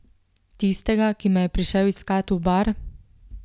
Tistega, ki me je prišel iskat v bar?